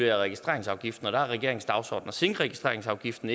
i registreringsafgiften der er regeringens dagsorden at sænke registreringsafgiften